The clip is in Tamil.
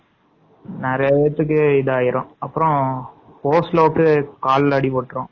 நிறையா பேத்துக்கு இதாயிரும்.அப்பறம் ஒஸ்லோவ்கு கால்ல அடிபட்டரும்.